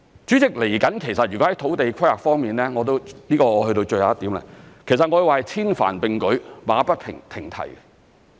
主席，在土地規劃方面，這是最後一點，我會說是千帆並舉，馬不停蹄。